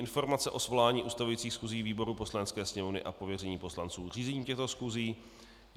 Informace o svolání ustavujících schůzí výborů Poslanecké sněmovny a pověření poslanců řízením těchto schůzí